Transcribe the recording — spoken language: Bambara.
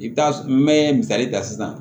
I bɛ taa n bɛ misali ta sisan